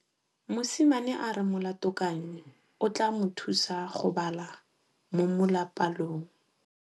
Mosimane a re molatekanyô o tla mo thusa go bala mo molapalong.